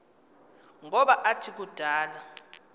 ngoba athi kudala